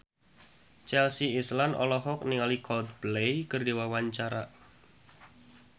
Chelsea Islan olohok ningali Coldplay keur diwawancara